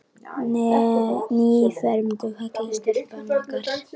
Nýfermd og falleg stelpan okkar.